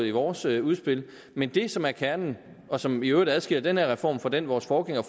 i vores udspil men det som er kernen og som i øvrigt adskiller den her reform fra den vores forgængere